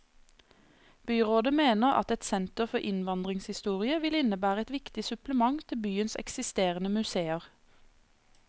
Byrådet mener at et senter for innvandringshistorie vil innebære et viktig supplement til byens eksisterende museer.